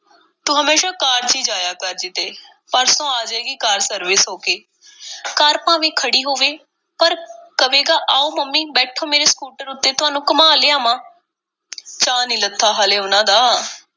ਤੂੰ ਹਮੇਸ਼ਾਂ ਕਾਰ ਚ ਹੀ ਜਾਇਆ ਕਰ ਕਿਤੇ—ਪਰਸੋਂ ਆ ਜਾਏਗੀ ਕਾਰ service ਹੋ ਕੇ। ਕਾਰ ਭਾਵੇਂ ਖੜ੍ਹੀ ਹੋਵੇ, ਪਰ ਕਵੇਗਾ–ਆਓ ਮੰਮੀ, ਬੈਠੋ, ਮੇਰੇ ਸਕੂਟਰ ਉੱਤੇ, ਤੁਹਾਨੂੰ ਘੁਮਾ ਲਿਆਵਾਂ। ਚਾਅ ਨਹੀਂ ਲੱਥਾ, ਹਾਲੇ ਉਹਨਾਂ ਦਾ,